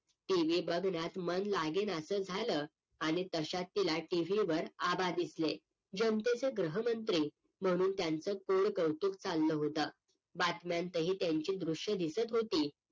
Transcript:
TV बघण्यात मन लागेनासं झालं आणि तश्यात तिला TV वर आबा दिसले जनतेचे गृहमंत्री म्हणून त्यांचं गोड़ कौतुक चाललं होतं बातम्यांतही त्यांची दृश्य दिसत होती